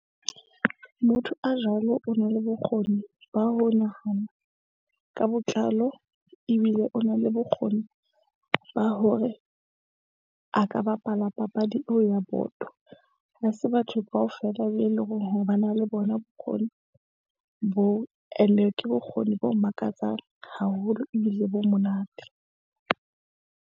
Motho a jwalo o na le bokgoni ba ho nahana ka botlalo ebile o na le bokgoni ba hore a ka bapala papadi eo ya boto. Ha se batho kaofela be eleng hore ba na le bona bokgoni boo. And-e ke bokgoni bo makatsang haholo ebile bo monate.